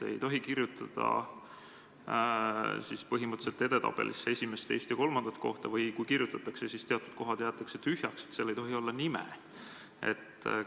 Põhimõtteliselt justkui ei tohi edetabelisse kirjutada muud kui esimest, teist ja kolmandat kohta või kui kirjutatakse muudki, siis teatud kohad jäetakse tühjaks, nime taga olla ei tohi.